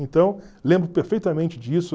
Então, lembro perfeitamente disso.